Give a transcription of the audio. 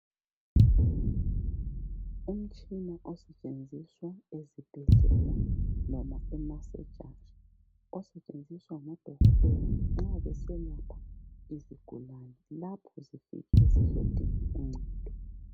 Umtshina osetshenziswa ezibhedlela loma ema sejari osetshenziswa ngodokotela nxa beselapha izigulani lapho zifike zizodinga uncedo